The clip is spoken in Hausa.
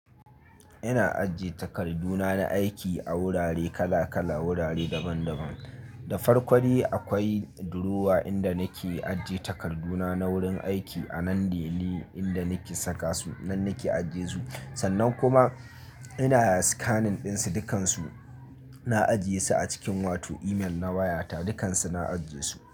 Ina ajiye takarduna na aiki a wurare kala-kala, wurare daban-daban. Da farko akwai durowa inda nake ajiye takarduna na wurin aiki a nan deli inda nake saka su, nan nake ajiye su. Sannan kuma ina scanning ɗin su, dukansu na ajiye su a cikin wato email na wayata, dukansu na ajiye su.